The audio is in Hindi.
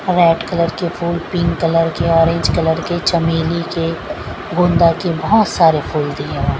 रेड कलर के फूल पिंक कलर के ऑरेंज कलर के चमेली के गोंदा के बोहोत सारे फूल दिए हुए हैं।